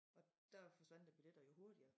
Og dér forsvandt æ billetter jo hurtigere